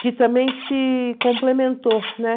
que também se complementou, né?